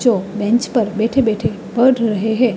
तो बेंच पर बैठे-बैठे पड़